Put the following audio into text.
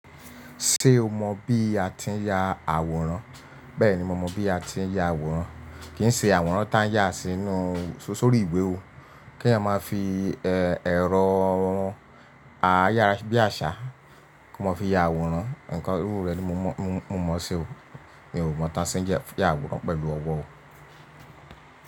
Ṣé o mọ bí a ti ń ya àwòrán? Bẹ́ẹ̀ni, mo mọ bí a ti ń ya àwòrán. Kì í ṣe àwòrán tá à ń yà sínú, sórí ìwé o. Kèèyàn máa fi èrọ ayára-bí-àṣá kó máa fi ya àwòrán. Ǹnkan irú rẹ̀ ni mo mọ̀ ṣe o. Mi ò mọ̀ tá a ṣe ń yàwòrán pẹ̀lú ọwọ́ o.